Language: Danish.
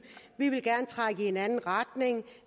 vi vil gerne trække i en anden retning